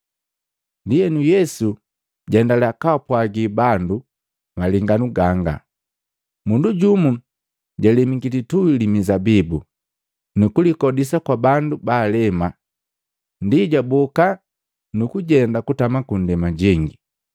Ndienu Yesu jaendalya kaapwagi bandu malenganu ganga, “Mundu jumu jalemiki lituhi li mizabibu. Nukulikodisa kwa bandu baalema, ndi jaboka nukujenda kutama kundema jengi.